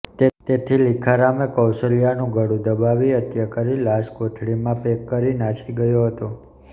તેથી લીખારામે કૌશલ્યાનું ગળું દબાવી હત્યા કરી લાશ કોથળામાં પેક કરી નાસી ગયો હતો